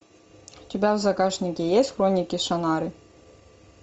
у тебя в загашнике есть хроники шанары